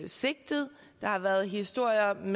sigtet der har været historier om